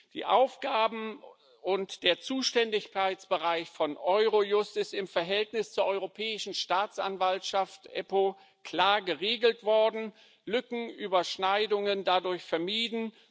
Die Aufgaben und der Zuständigkeitsbereich von Eurojust sind im Verhältnis zur Europäischen Staatsanwaltschaft EUStA klar geregelt, Lücken und Überschneidungen werden dadurch vermieden.